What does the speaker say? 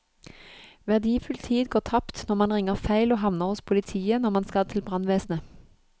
Verdifull tid går tapt når man ringer feil og havner hos politiet når man skal til brannvesenet.